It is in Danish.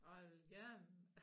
Og jeg vil gerne